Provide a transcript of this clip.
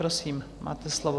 Prosím, máte slovo.